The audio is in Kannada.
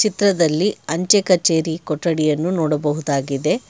ಚಿತ್ರದಲ್ಲಿ ಅಂಚೆ ಕಚೇರಿ ಕೊಠಡಿಯನ್ನು ನೋಡಬಹುದಾಗಿದೆ.